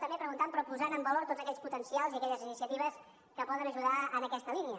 també preguntant però posant en valor tots aquells potencials i aquelles iniciatives que poden ajudar en aquesta línia